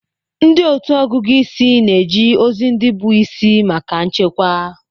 Ndị otu ọgụgụ isi na-eji ozi ndị bụ isi maka nchekwa.